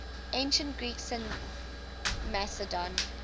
ancient greeks in macedon